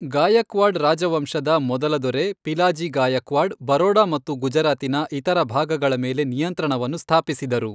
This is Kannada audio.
ಗಾಯಕ್ವಾಡ್ ರಾಜವಂಶದ ಮೊದಲ ದೊರೆ ಪಿಲಾಜಿ ಗಾಯಕ್ವಾಡ್ ಬರೋಡಾ ಮತ್ತು ಗುಜರಾತಿನ ಇತರ ಭಾಗಗಳ ಮೇಲೆ ನಿಯಂತ್ರಣವನ್ನು ಸ್ಥಾಪಿಸಿದರು.